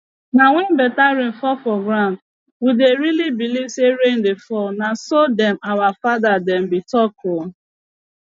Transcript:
nah when better rain fall for ground we dey really believe say rain dey fall nah so them our father dem be talk ooo